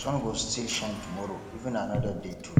sun go still shine tomorrow even anoda day too